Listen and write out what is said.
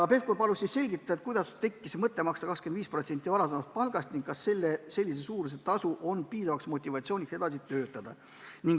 Pevkur palus selgitada, kuidas tekkis mõte maksta 25% varasemast palgast ning kas sellise suurusega tasu annab piisava motivatsiooni edasi töötada.